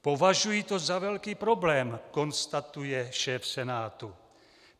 Považuji to za velký problém," konstatuje šéf Senátu.